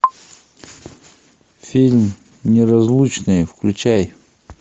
фильм неразлучные включай